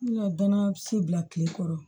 N ka danaya se bila kile kɔrɔ